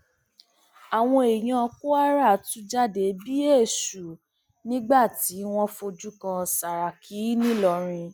àwọn èèyàn kwara tú jáde bíi èṣù nígbà tí wọn fojú kan sàràkí ńìlọrin